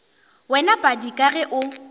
wena padi ka ge o